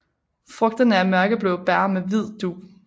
Frugterne er mørkeblå bær med hvid dug